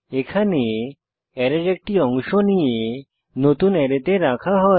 এখানে অ্যারের একটি অংশ নিয়ে নতুন অ্যারেতে রাখা হয়